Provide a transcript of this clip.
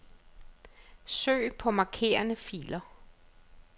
Søg på markerede filer.